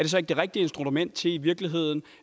så ikke det rigtige instrument til i virkeligheden